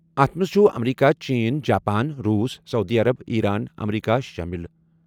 اَتھ منٛز چھِ امریکہ، چین، جاپان، روس، سعودی عرب، ایران، امریکہ شٲمِل۔